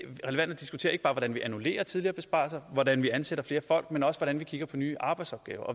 relevant at diskutere ikke bare hvordan vi annullerer tidligere besparelser og hvordan vi ansætter flere folk men også hvordan vi kigger på nye arbejdsopgaver